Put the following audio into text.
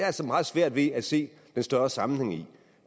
altså meget svært ved at se den større sammenhæng i